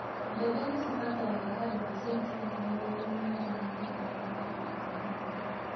Mbembe nicibataraga handũ ha cenitimita mĩrongo mũgwanja na ithano gatagatĩ ka mĩtaro.